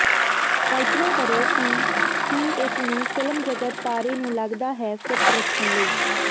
ਕਲਪਨਾ ਕਰੋ ਕਿ ਕੀ ਇਸ ਨੂੰ ਫ਼ਿਲਮ ਜਗਤ ਤਾਰੇ ਨੂੰ ਲੱਗਦਾ ਹੈ ਫਿੱਟ ਰੱਖਣ ਲਈ